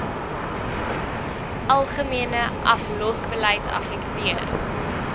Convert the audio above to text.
algemene aflosbeleid affekteer